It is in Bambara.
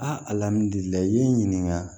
i ye n ɲininka